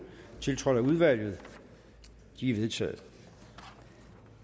tiltrådt af udvalget de er vedtaget